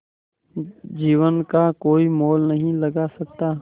जीवन का कोई मोल नहीं लगा सकता